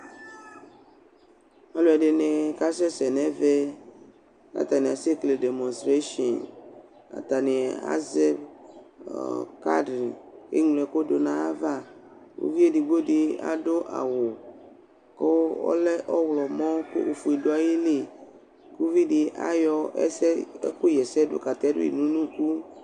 Alʋ ɛdɩnɩ kasɛsɛ nʋ ɛvɛ, kʋ atanɩ asɛkele demɔstresin, atanɩ azɛ kadr, eŋlo ɛkʋ dʋ nʋ ayava, uvi edigbo dɩ adʋ awʋ kʋ ɔlɛ ɔɣlɔmɔ kʋ ofue dʋ ayili, kʋ uvidɩ ayɔ ɛkʋɣa ɛsɛ dʋ katɛdʋ yɩ nʋ unuku